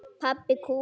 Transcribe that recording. Pabbi kúl!